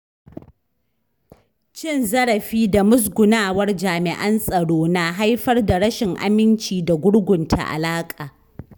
Cin zarafi da musgunawar jami’an tsaro na haifar da rashin aminci da gurgunta alaƙa.